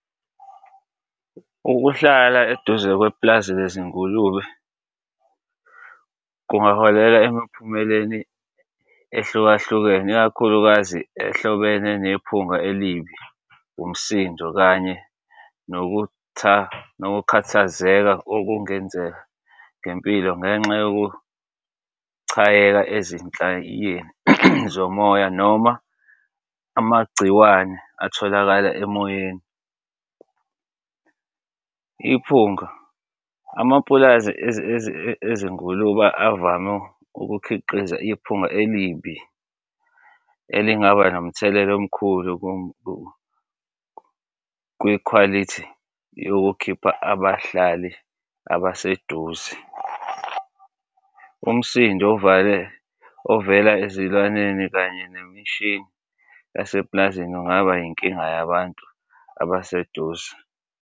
Ukuhlala eduze kwepulazi lezingulube kungaholela emiphumeleni ehlukahlukene, ikakhulukazi ehlobene nephunga elibi, umsindo kanye nokukhathazeka okungenzeka ngempilo ngenxa yokuchayeka ezinhlayeni zomoya noma amagciwane atholakala emoyeni. Iphunga. Amapulazi ezingulubeni avame ukukhiqiza iphunga elibi elingaba nomthelela omkhulu kwikhwalithi yokukhipha abahlali abaseduze. Umsindo ovale ovela ezilwaneni kanye nemishini yasepulazini kungaba yinkinga yabantu abaseduze.